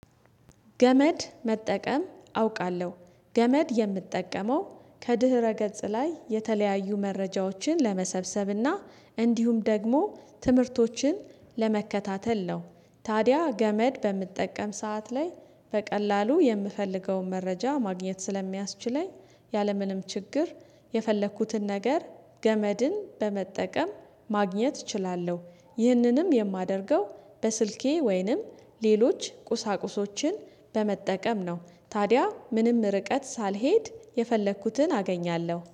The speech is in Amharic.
ገመድ መጠቀም አውቃለሁ ገመድ የምጠቀመው ከድህረ ገጽ ላይ የተለያዩ መረጃዎችን ለመሰብሰብና እንዲሁም ደግሞ ትምህርቶችን ለመከታተል ነው። ታዲያ ገመድ በምጠቀም ሰዓት ላይ በቀላሉ የምፈልገውን መረጃ ማግኘት ስለሚያስችለኝ ያለምንም ችግር የፈለኩትን ነገር ገመድን በመጠቀም ማግኘት እችላለሁ። ይህንንም የማደርገው በስልኬ ወይንም ሌሎች ቁሳቁሶችን በመጠቀም ነው። ታዲያ ምንም ርቀት ሳልሄድ የፈለኩትን አገኛለሁ